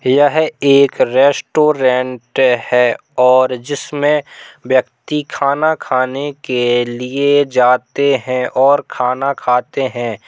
यह एक रेस्टोरेंट हैं और जिसमें व्यक्ति खाना खाने के लिए जाते हैं और खाना खाते हैं।